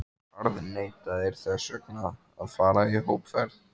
harðneitaðir þess vegna að fara í hópferð!